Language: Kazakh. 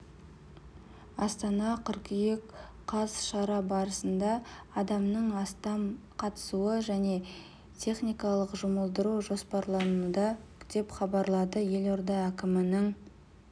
астана қыркүйек қаз шара барысында адамның астам қатысуы және теіниканы жұмылдыру жоспарлануда деп хабарлады елорда әкімінің